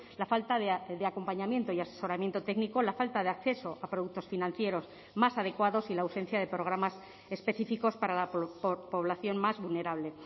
la falta de acompañamiento y asesoramiento técnico la falta de acceso a productos financieros más adecuados y la ausencia de programas específicos para la población más vulnerable